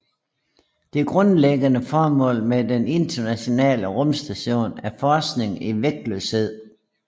Det grundlæggende formål med den Internationale Rumstation er forskning i vægtløshed